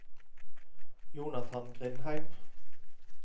Jonathan Grindheim